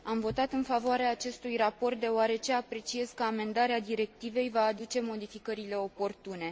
Am votat în favoarea acestui raport deoarece apreciez că amendarea directivei va aduce modificările oportune.